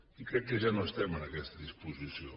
i crec que ja no estem en aquesta disposició